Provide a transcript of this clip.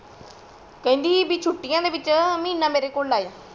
ਕਹਿੰਦੀ ਭੀ ਛੁਟੀਆਂ ਦੇ ਵਿੱਚ ਮਹੀਨਾ ਮੇਰੇ ਕੋਲ ਲਾਯੋ